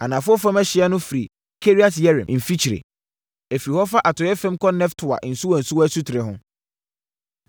Anafoɔ fam ɛhyeɛ no, firi Kiriat-Yearim mfikyire. Ɛfiri hɔ fa atɔeɛ fam kɔ Neftoa nsuwansuwa asutire ho,